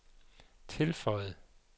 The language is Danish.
tilføjede